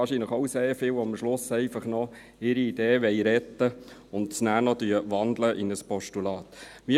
Wahrscheinlich sind es auch sehr viele, die ihre Idee am Schluss noch retten wollen und noch in ein Postulat wandeln.